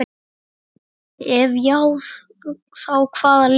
Ef já þá hvaða lið?